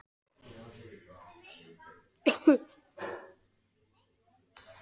Barónessan og sjúklingurinn hafa einnig borð og stóla með strásetum.